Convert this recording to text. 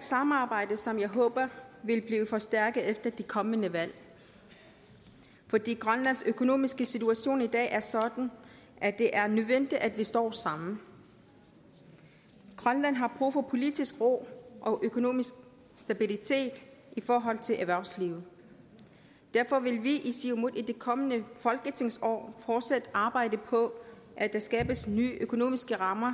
samarbejde som jeg håber vil blive forstærket efter det kommende valg fordi grønlands økonomiske situation i dag er sådan at det er nødvendigt at vi står sammen grønland har brug for politisk ro og økonomisk stabilitet i forhold til erhvervslivet derfor vil vi i siumut i det kommende folketingsår fortsat arbejde på at der skabes nye økonomiske rammer